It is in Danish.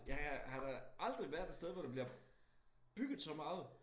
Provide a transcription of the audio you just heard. Jeg har da aldrig været et sted hvor der bliver bygget så meget